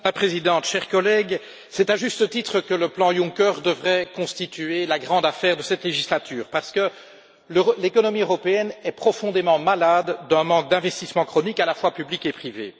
Madame la Présidente, chers collègues, c'est à juste titre que le plan Juncker devrait constituer la grande affaire de cette législature, parce que l'économie européenne est profondément malade d'un manque d'investissement chronique, à la fois public et privé.